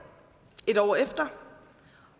et år efter